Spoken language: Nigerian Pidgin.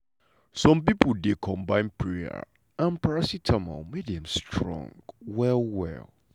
some pipo dey combine prayer and paracetamol make dem strong well well.